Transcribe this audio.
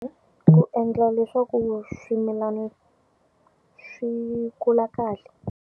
Ku endla leswaku swimilana swi kula kahle.